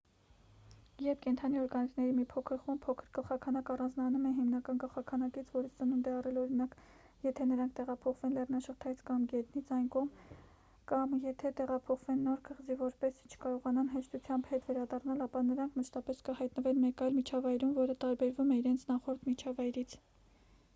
երբ կենդանի օրգանիզմների մի փոքր խումբ փոքր գլխաքանակ առանձնանում է հիմնական գլխաքանակից որից ծնունդ է առել օրինակ եթե նրանք տեղափոխվեն լեռնաշղթայից կամ գետից այն կողմ կամ եթե տեղափոխվեն նոր կղզի որպեսզի չկարողանան հեշտությամբ հետ վերադառնալ ապա նրանք մշտապես կհայտնվեն մեկ այլ միջավայրում որը տարբերվում է իրենց նախորդ միջավայրից: